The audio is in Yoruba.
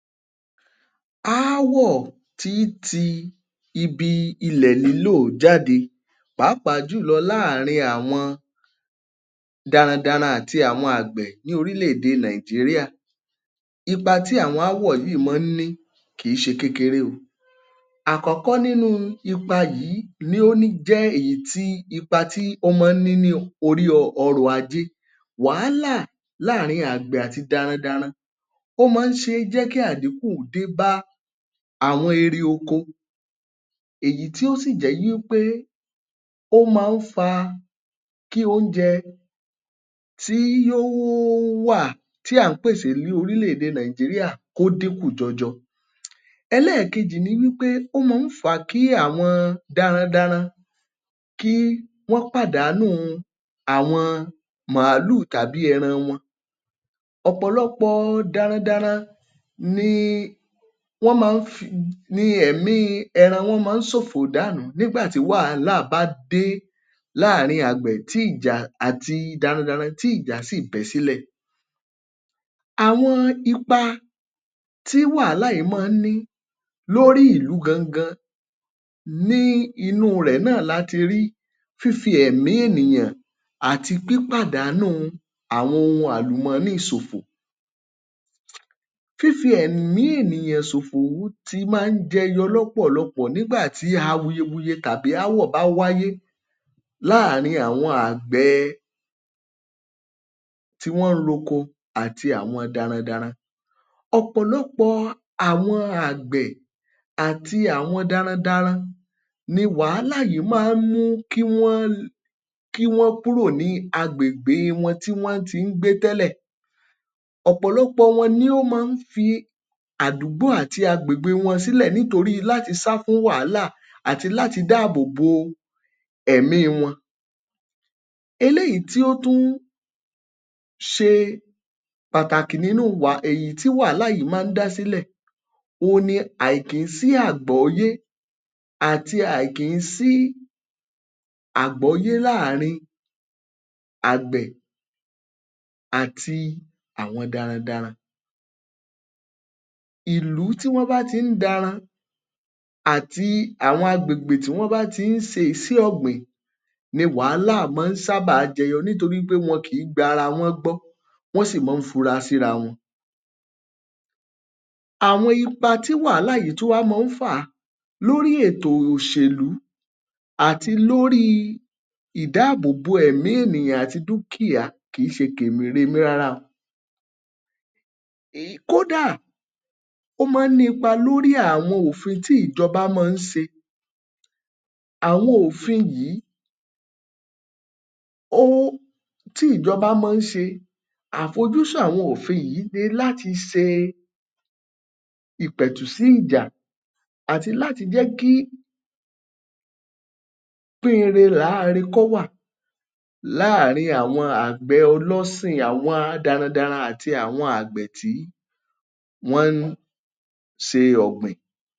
Aáwọ̀ tí í ti ibi ilẹ̀ lílò jáde pàápàá jùlọ láàrin àwọn darandaran àti àwọn àgbẹ̀ ní orílẹ̀ èdè Nàìjíríà. Ipa tí àwọn aáwọ̀ yìí má ń ní kì í ṣe kékeré o. Àkọ́kọ́ nínú ipa yìí ni ó níjẹ́ èyí tí ipa tí ọmọ níní orí ọrọ̀ ajé wàhálà láàrin àgbẹ̀ àti darandaran. Ó máa ń ṣe jẹ́ kí àdínkù débá àwọn eri oko èyí tó sì jẹ́ wípé ó máa ń fa kí oúnje tí yóò wà tí à ń pèsè ní orílẹ̀ èdè Nàìjíríà kó dínkú jọjọ. Ẹlẹ́ẹ̀kejì ní wípé ó máa ń fa kí àwọn darandaran kí wọ́n pàdánù àwọn màálù tàbí ẹran wọn. Ọ̀pọ̀lọpọ̀ darandaran ni wọ́n máa ń fi, ní ẹ̀mí ẹran wọn máa ń ṣòfò dànù nígbà tí wàhálà bá dé láàárín àgbẹ̀ tí ìjà àti darandaran tí ìjà síì bẹ́ sílẹ̀. Àwọn ipa tí wàhálà yìí máa ń ní lórí ìlú gangan, ní inú rẹ̀ náà láti rí fífi ẹ̀mí ènìyàn àti pípàdánù àwọn ohun àlùmọ́nì ṣòfò. Fífi ẹ̀mi ènìyàn ṣòfò ti máa ń jẹyọ lọ́pọ̀lọpọ̀ nígbà tí awuyewuye tàbí aáwọ̀ bá wáyé láàárín àwọn àgbẹ̀ẹ tí wọ́n ń roko àti àwọn darandaran. Ọ̀pọ̀lọpọ̀ àwọn àgbẹ̀ àti àwọn darandaran ni wàhálà yìí máa ń mú kí wọ́n kí wọ́n kúrò ní agbègbè wọn tí wọ́n ti í gbé tẹ́lẹ̀. Ọ̀pọ̀lọpọ̀ wọn ni wọ́n máa ń fi àdúgbò àti agbègbè wọn sílẹ̀ nítorí láti sá fún wàhálà àti láti dá àbò bo ẹ̀míi wọn. Eléyìí tí ó tún ṣe Pàtàkì nínú wa um èyí tí wàhálà yìí máa ń dá sílẹ̀ òun ni àìkíńsíàgbóyé àti àìkìńsí-àgbóyé láàrin àgbẹ̀ àti àwọn darandaran. Ìlú tí wọ́n bá ti í daran àti àwọn agbègbè tí wọ́n bá ti í ṣe iṣẹ́ ọ̀gbìn ni wàhálà sábà máa ń jẹyọ nítorí wọn kìí gba ara wọn ọ́n gbọ́, wọ́n sì máa ń fura síra wọn. Àwọn ipa tí wàhálà yìí tún wá máa ń fà lórí ètò òṣèlú àti lórí ìdáàbòbò ẹ̀mi ènìyàn àti dúkìá kì í ṣe kèremí rárá o kódà ó máa ń ní ipa lórí àwọn òfin tí ìjọba máa ń ṣe. Àwọn òfin yìí ó tí ìjọba máa ń ṣe àfojúsùn àwọn òfin yìí ní láti ṣe ìpẹ̀tù sí ìjà àti láti jẹ́ kí pín-in-re làáre kó wà láàrin àgbẹ̀ ọlọ́sìn àwọn darandaran àti àwọn àgbẹ̀ tí wọ́n ń ṣe ọ̀gbìn.